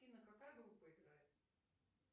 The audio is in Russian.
афина какая группа играет